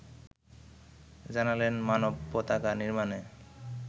জানালেন মানব পতাকা নির্মাণে